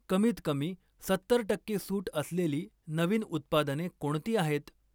कमीत कमी सत्तर टक्के सूट असलेली नवीन उत्पादने कोणती आहेत?